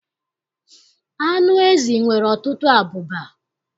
Anụ ezi nwere ọtụtụ abụba.